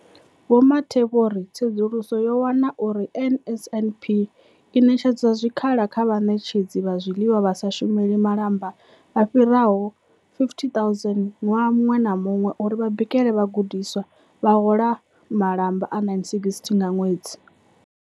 Vho Mathe vho ri, Tsedzuluso yo wana uri NSNP i ṋetshedza zwikhala kha vhaṋetshedzi vha zwiḽiwa vha sa shumeli malamba vha fhiraho 50 000 ṅwaha muṅwe na muṅwe uri vha bikele vhagudiswa, vha hola malamba a R960 nga ṅwedzi.